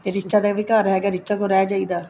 ਫ਼ਿਰ ਰੀਚਾ ਦਾ ਵੀ ਘਰ ਹੈਗਾ ਰੀਚਾ ਕੋਲ ਰਹਿ ਜਾਈਦਾ